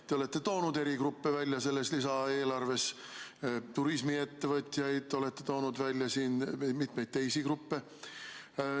Te olete toonud eri gruppe välja selles lisaeelarves, turismiettevõtjad olete toonud välja ja ka mitu teist gruppi.